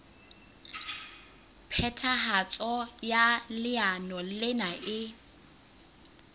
phethahatso ya leano lena e